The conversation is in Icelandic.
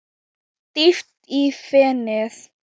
Dýpra í fenið